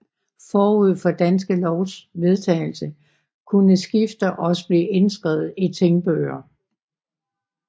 Forud for Danske Lovs vedtagelse kunne skifter også blive indskrevet i tingbøger